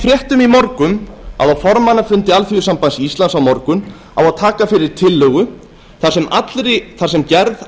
fréttum í morgun að á formannafundi alþýðusambands íslands á morgun á að taka fyrir tillögu þar sem gerð